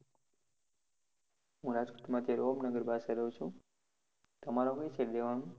હું રાજકોટ માં અત્યારે ઓમનગર પાસે રહું છુ, તમારે કઈ side રેહવાનું?